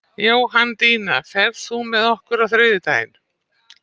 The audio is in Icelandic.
Jóhanndína, ferð þú með okkur á þriðjudaginn?